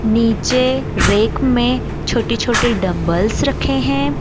नीचे रेक में छोटे-छोटे डंबल्स रखे हैं।